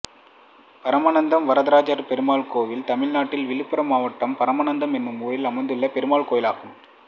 பரமநத்தம் வரதராஜபெருமாள் கோயில் தமிழ்நாட்டில் விழுப்புரம் மாவட்டம் பரமநத்தம் என்னும் ஊரில் அமைந்துள்ள பெருமாள் கோயிலாகும்